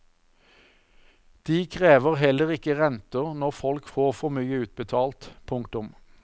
De krever heller ikke renter når folk får for mye utbetalt. punktum